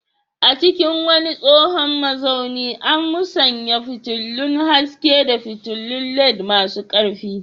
A cikin wani tsohon mazaunin, an musanya fitilun haske da fitulun LED masu ƙarfi.